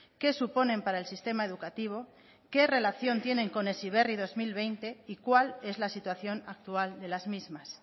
qué suponen para el sistema educativo qué relación tienen con heziberri dos mil veinte y cuál es la situación actual de las mismas